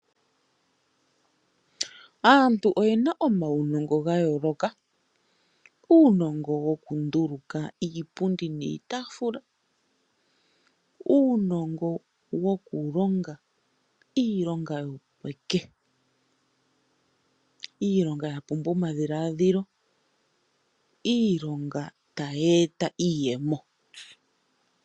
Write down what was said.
Aantu oyena uunongo wa yooloka. Uunongo wokunduluka iipundi niitaafula, uunongo wokulonga iilonga yopeke, iilonga yapumbwa omadhiladhilo, iilonga tayi e ta iiyemo.